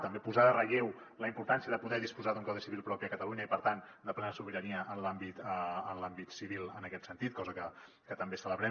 també posar en relleu la importància de poder disposar d’un codi civil propi a catalunya i per tant de plena sobirania en l’àmbit civil en aquest sentit cosa que també celebrem